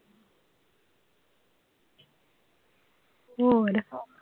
ਹੋਰ